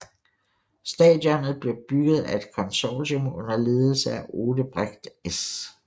Stadionet blev bygget af et konsortium under ledelse af Odebrecht S